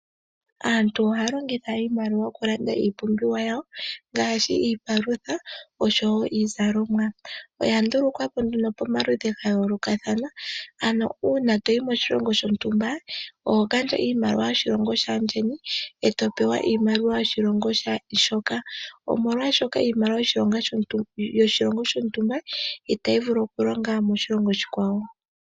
Aantu ohaya longitha iimaliwa okulanda iipumbiwa yawo ngaashi iipalutha osho wo iizalomwa. Oya ndulukwa po nduno pamaludhi gayoolokathana ano uuna toyi moshilongo shontumba oho gandja iimaliwa yoshilongo shaandjeni e to pewa iimaliwa yoshilongo shoka molwaashoka iimaliwa yoshilongo shontumba itayi vulu okulonga moshilongo oshikwawo.